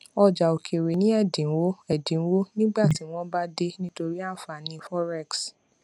ọjà òkèèrè ní ẹdínwó ẹdínwó nígbà tí wọn bá dé nítorí ànfàní forex